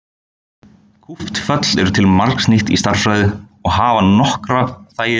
Kúpt föll eru til margs nýt í stærðfræði og hafa nokkra þægilega eiginleika.